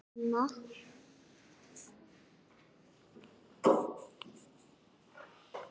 Ég fékk hann ofan af þessu og tók Guðrúnu með mér heim.